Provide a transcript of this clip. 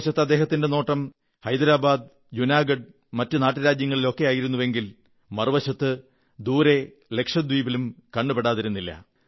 ഒരു വശത്ത് അദ്ദേഹത്തിന്റെ നോട്ടം ഹൈദരബാദ് ജൂനാഗഢ് മറ്റു നാട്ടു രാജ്യങ്ങളിലുമൊക്കെയായിരുന്നുവെങ്കിൽ മറുവശത്ത് ദൂരെ ലക്ഷദ്വീപിലും കണ്ണുപെടാതിരുന്നില്ല